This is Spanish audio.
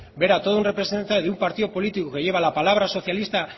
ver a todo un representante de un partido político que lleva la palabra socialista